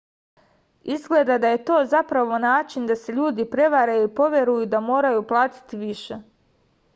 izgleda da je to zapravo način da se ljudi prevare i poveruju da moraju platiti više